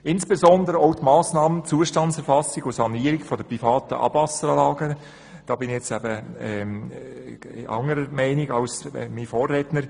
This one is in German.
Insbesondere bei der Massnahme Zustandserfassung und Sanierung der privaten Abwasseranlagen bin ich anderer Meinung als mein Vorredner.